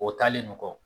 O taalen no